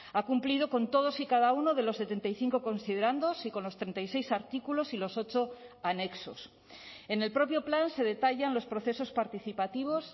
ha cumplido con todos y cada uno de los setenta y cinco considerandos y con los treinta y seis artículos y los ocho anexos en el propio plan se detallan los procesos participativos